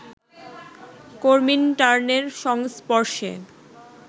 কমিনটার্নের সংস্পর্শে